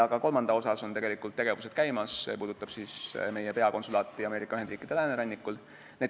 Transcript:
Ka kolmanda jaoks on tegevused käimas, see puudutab meie peakonsulaati Ameerika Ühendriikide läänerannikul.